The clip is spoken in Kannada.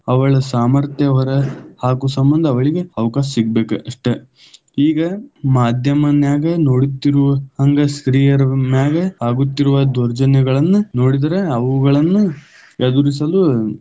ಅವಳ ಸಾಮರ್ಥ್ಯ ಹೊರ ಹಾಕು ಸಂಬಂಧ ಅವಳಿಗ ಅವಕಾಶ ಸಿಗಬೇಕ ಅಷ್ಟ, ಈಗ ಮಾಧ್ಯಮನ್ಯಾಗ ನೋಡುತ್ತಿರುವ ಹಂಗ ಸ್ತ್ರೀಯರ ಮ್ಯಾಗ ಆಗುತ್ತಿರುವ ದೌರ್ಜನ್ಯಗಳನ್ನ ನೋಡಿದರ ಅವುಗಳನ್ನ ಎದುರಿಸಲು.